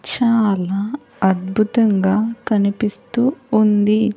చాలా అద్భుతంగా కనిపిస్తూ ఉంది.